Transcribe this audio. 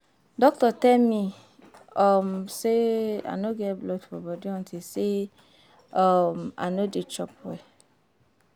Doctor tell me um say I no get blood for body unto say um I no dey chop well